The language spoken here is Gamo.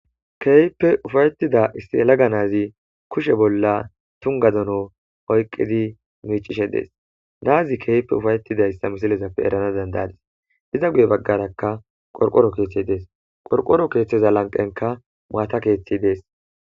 keehippe ufaytida issi yelaga naazi kushe bolla tungga dono oyqqidi miicishe de'ees. Na'azi keehippe ufaytidayssa misilezappe erana danda'adis. Iza guye bagarakka qorqoro keethay dees. Qorqoro keethaza lanqenkka maata keethazi dees.